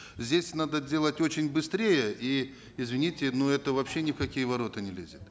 здесь надо делать очень быстрее и извините но это вообще ни в какие ворота не лезет